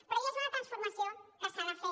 però ja és una transformació que s’ha de fer